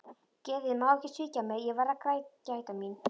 Geðið má ekki svíkja mig, ég verð að gæta mín.